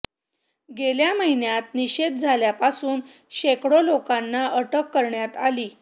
गेल्या महिन्यात निषेध झाल्यापासून शेकडो लोकांना अटक करण्यात आली